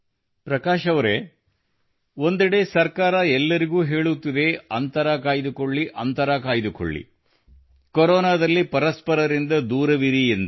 ಪ್ರಕಾಶ್ ಅವರೇ ಒಂದೆಡೆ ಸರ್ಕಾರ ಎಲ್ಲರಿಗೂ ಹೇಳುತ್ತಿದೆ ಅಂತರ ಕಾಯ್ದುಕೊಳ್ಳಿ ಅಂತರ ಕಾಯ್ದುಕೊಳ್ಳಿ ಕೊರೋನಾದಲ್ಲಿ ಪರಸ್ಪರರಿಂದ ದೂರವಿರಿ ಎಂದು